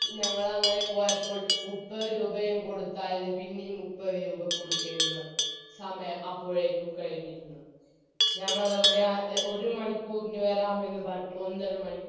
ഞങ്ങളങ്ങനെ പോയപ്പോൾ മുപ്പത് രൂപയും കൊടുത്തായിരുന്നു പിന്നെയും മുപ്പതുരൂപ കൊടുക്കേണ്ടിവന്നു സമയം അപ്പോഴേക്കും കഴിഞ്ഞിരുന്നു ഞങ്ങളവിടെ ഒരുമണിക്കൂറിന് വരാമെന്ന് പറഞ്ഞിറ്റ് ഒന്നര മണിക്കൂർ